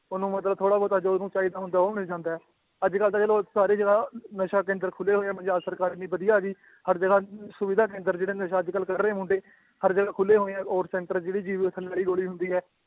ਉਹਨੂੰ ਮਤਲਬ ਥੋੜ੍ਹਾ ਬਹੁਤਾ ਜੋ ਉਹਨੂੰ ਚਾਹੀਦਾ ਹੁੰਦਾ ਹੈ ਉਹ ਮਿਲ ਜਾਂਦਾ ਹੈ, ਅੱਜ ਕੱਲ੍ਹ ਤਾਂ ਚਲੋ ਸਾਰੀ ਜਗ੍ਹਾ ਨਸ਼ਾ ਕੇਂਦਰ ਖੁੱਲੇ ਹੋਏ ਹੈ ਪੰਜਾਬ ਸਰਕਾਰ ਇੰਨੀ ਵਧੀਆ ਆ ਗਈ, ਹਰ ਜਗ੍ਹਾ ਸੁਵਿਧਾ ਕੇਂਦਰ ਜਿਹੜਾ ਨਸ਼ਾ ਅੱਜ ਕੱਲ੍ਹ ਕਰ ਰਹੇ ਮੁੰਡੇ ਹਰ ਜਗ੍ਹਾ ਖੁੱਲੇ ਹੋਏ ਆ, ਔਰ center ਜਿਹੜੀ ਜੀਭ ਦੇ ਥੱਲੇ ਵਾਲੀ ਗੋਲੀ ਹੁੰਦੀ ਹੈ